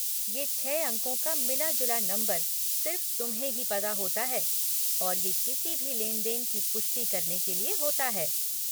ये छह अंकों का मिला जुला नंबर सिर्फ़ तुम्हें ही पता होता है और ये किसी भी लेन देन की पुष्टि करने के लिए होता है।